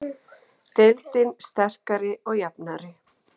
Deildin sterkari og jafnari